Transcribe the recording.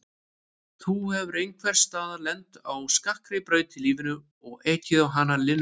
Þú hefur einhvers staðar lent á skakkri braut í lífinu og ekið hana linnulaust.